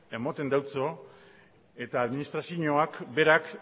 ematen deutso eta administrazioak berak